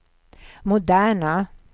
moderna